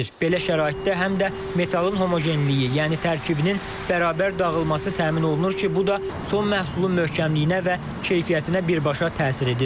Belə şəraitdə həm də metalın homogenliyi, yəni tərkibinin bərabər dağılması təmin olunur ki, bu da son məhsulun möhkəmliyinə və keyfiyyətinə birbaşa təsir edir.